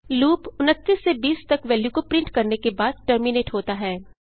loop 29 से 20 तक value को प्रिंट करने के बाद टर्मिनेट होता है